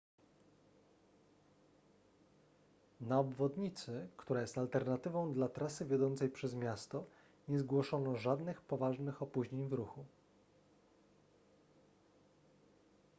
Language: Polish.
na obwodnicy która jest alternatywą dla trasy wiodącej przez miasto nie zgłoszono żadnych poważnych opóźnień w ruchu